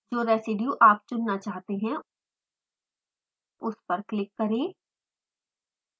जो residues आप चुनना चाहते हैं उस पर क्लिक करें